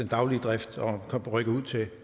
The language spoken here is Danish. daglige drift og at kunne rykke ud til